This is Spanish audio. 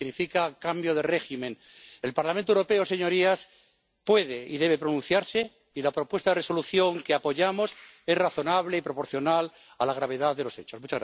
Significa cambio de régimen. El Parlamento Europeo, señorías, puede y debe pronunciarse y la propuesta de Resolución que apoyamos es razonable y proporcional a la gravedad de los hechos.